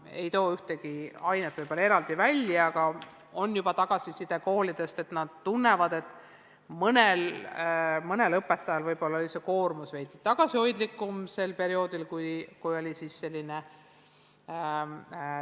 Ma ei tooks siin ühtegi õppeainet eraldi välja, aga juba on koolidest tulnud tagasisidet, et nad tunnevad, et mõnel õpetajal oli töökoormus distantsõppe perioodil võib-olla veidi tagasihoidlikum.